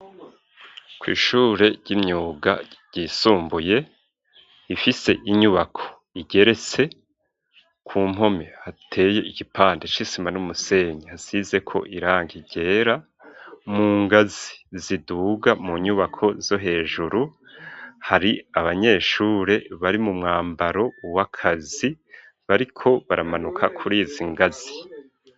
Kw'ishure ry'imyuga ,ryisumbuye ,ifise inyubako igerese, ku mpome hateye igipande c'isima n'umusenyi, hasize ko irangi ryera, mu ngazi ziduga mu nyubako zo hejuru hari abanyeshure bari mu mwambaro w'akazi, bariko baramanuka kurizi ngazi.